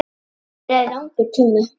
Þannig leið langur tími.